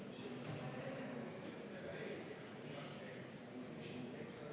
Henn Põlluaas, palun!